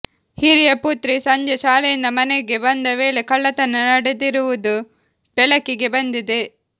ಹಿರಿಯ ಪುತ್ರಿ ಸಂಜೆ ಶಾಲೆಯಿಂದ ಮನೆಗೆ ಬಂದ ವೇಳೆ ಕಳ್ಳತನ ನಡೆದಿರುವುದು ಬೆಳಕಿಗೆ ಬಂದಿದೆ